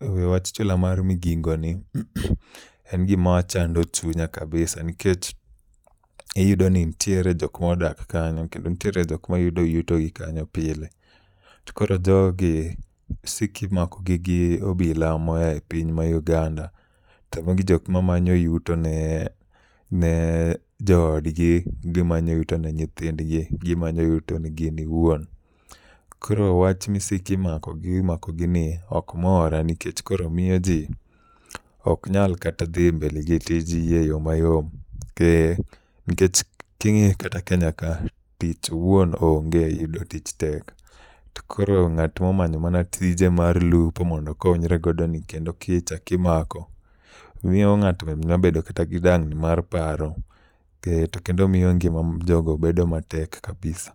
e wach chula mar Migingo ni en gimachando chunya kabisa. Nikech iyudo ni nitiere jok modak kanyo kendo nitiere jok mayudo yuto gi kanyo pile. To koro jogi isik imako gi gi obila mo a e piny ma Uganda. To magi jok mamanyo yuto ne jo od gi, gimanyo yuto ne nyithindgi, gimanyo yuto ne gin owuon. Koro wach ni isik imako gi imako gi ni ok mora nikech koro miyo ji ok nyal kata dhi mbele gi tij gi e yo mayom. Nikech king'iyo kata Kenya ka tich owuon onge yudo tich tek. To koro ng'at momanyo mana tije mar lupo mondo okonyregodo ni kendo kichaki mako miyo ng'ato nyabedo kata gi dangni mar paro. Kendo miyo ngima jogo bedo matek kabisa.